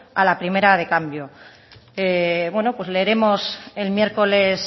a la primera de cambio bueno pues leeremos el miércoles